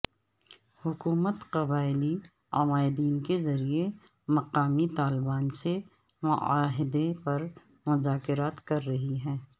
حکومت قبائلی عمائدین کے ذریعے مقامی طالبان سے معاہدے پر مذاکرات کر رہی ہے